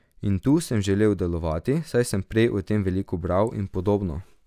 In tu sem želel delovati, saj sem prej o tem veliko bral in podobno.